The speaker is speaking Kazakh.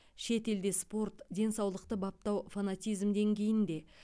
шет елде спорт денсаулықты баптау фанатизм деңгейінде